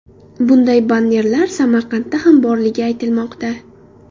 Bunday bannerlar Samarqandda ham borligi aytilmoqda.